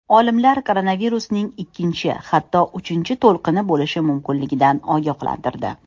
Olimlar koronavirusning ikkinchi, hatto uchinchi to‘lqini bo‘lishi mumkinligidan ogohlantirdi.